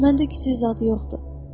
Məndə küçüy zad yoxdur.